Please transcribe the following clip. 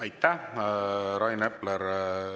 Aitäh, Rain Epler!